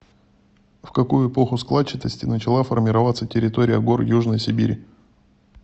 в какую эпоху складчатости начала формироваться территория гор южной сибири